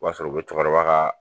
O b'a sɔrɔ u bɛ cɛkɔrɔba ka